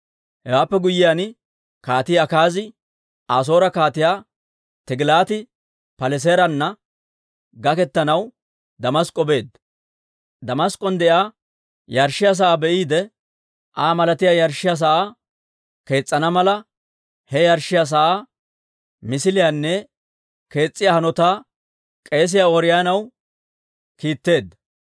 Hewaappe guyyiyaan, Kaatii Akaazi Asoore Kaatiyaa Tigilaati-Paleseerana gaketanaw Damask'k'o beedda. Damask'k'on de'iyaa yarshshiyaa sa'aa be'iide Aa malatiyaa yarshshiyaa sa'aa kees's'ana mala, he yarshshiyaa sa'aa misiliyaanne kees's'iyaa hanotaa k'eesiyaa Ooriyoonaw kiitteedda.